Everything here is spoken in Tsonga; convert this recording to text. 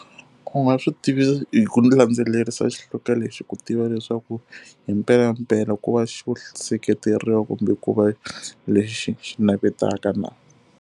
Ku nga swi tivisa hi ku landzelerisa lexi ku tiva leswaku hi mpelampela ku va xo seketeriwa kumbe ku va lexi xi navetaka na.